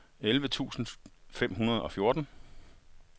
elleve tusind fem hundrede og fjorten